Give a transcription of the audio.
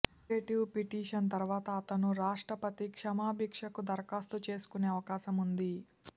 curative petition తర్వాత అతను రాష్ట్రపతి క్షమాభిక్షకు దరఖాస్తు చేసుకునే అవకాశం ఉంది